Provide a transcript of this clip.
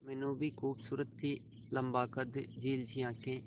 मीनू भी खूबसूरत थी लम्बा कद झील सी आंखें